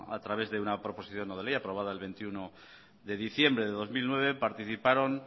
a través de una proposición no de ley aprobada el veintiuno de diciembre de dos mil nueve participaron